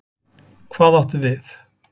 Hvað áttu við?